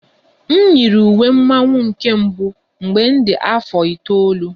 M yiri uwe mmọnwụ na nke mbụ mgbe m dị afọ itoolu